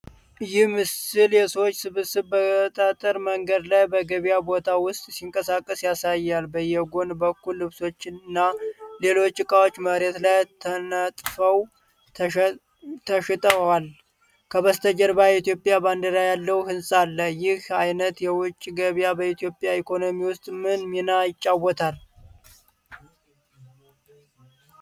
ይህ ምስል የሰዎች ስብስብ በጠጠር መንገድ ላይ በገበያ ቦታ ውስጥ ሲንቀሳቀስ ያሳያል። በየጎን በኩል ልብሶች እና ሌሎች ዕቃዎች መሬት ላይ ተነጥፈው ተሽጠዋል። ከበስተጀርባ የኢትዮጵያ ባንዲራ ያለው ሕንፃ አለ። ይህ አይነት የውጪ ገበያ በኢትዮጵያ ኢኮኖሚ ውስጥ ምን ሚና ይጫወታል?